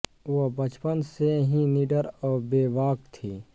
वह बचपन से ही निडर और बेबाक थीं